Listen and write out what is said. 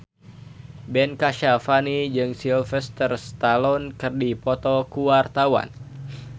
Ben Kasyafani jeung Sylvester Stallone keur dipoto ku wartawan